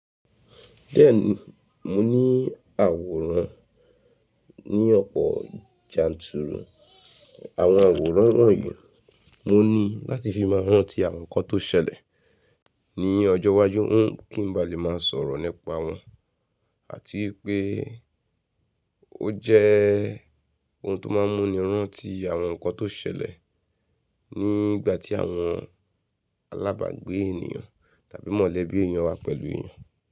Bẹ́ẹ̀ni, mo ní àwòrán ní ọ̀pọ̀ janturu àwọn àwòrán wọ̀nyí. Mo ní láti fi máa rántí àwọn nǹkan tó ṣẹlẹ̀ ní ọjọ́ iwájú kí n ba lè máa sọ̀rọ̀ nípa wọn àti pé ó jẹ́ ohun tó máa ń mú ni rántí àwọn nǹkan tó ṣẹlẹ̀ ní ìgbà tí àwọn alábágbé ènìyàn tàbí mọ̀lẹ́bí ènìyàn wà pẹ̀lú ènìyàn.